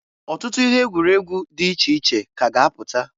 Ọtụtụ ihe egwuregwu di iche iche ka a ga -apụta.